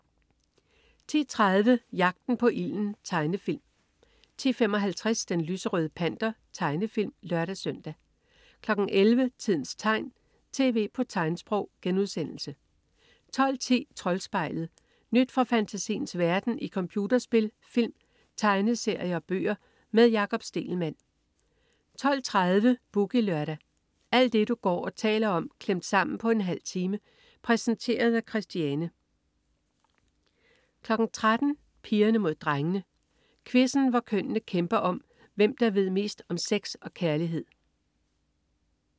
10.30 Jagten på ilden. Tegnefilm 10.55 Den lyserøde Panter. Tegnefilm (lør-søn) 11.00 Tidens tegn, tv på tegnsprog* 12.10 Troldspejlet. Nyt fra fantasiens verden i computerspil, film, tegneserier og bøger. Med Jakob Stegelmann 12.30 Boogie Lørdag. Alt det du går og taler om klemt sammen på en halv time. Præsenteret af Christiane 13.00 Pigerne Mod Drengene. Quizzen, hvor kønnene kæmper om, hvem der ved mest om sex og kærlighed